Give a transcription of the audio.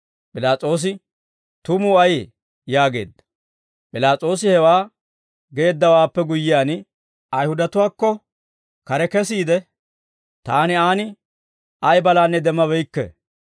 P'ilaas'oosi, «Tumuu ayee?» yaageedda. P'ilaas'oosi hewaa geeddawaappe guyyiyaan, Ayihudatuwaakko kare kesiide, «Taani aan ay balaanne demmabeykke.